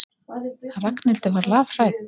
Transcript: Ragnhildur var lafhrædd.